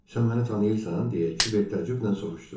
Sən məni tanıyırsan, deyə Kiber təəccüblə soruşdu.